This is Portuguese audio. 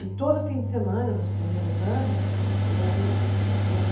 E todo fim de semana, nos primeiros anos, eu ia para o